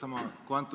Auväärt minister!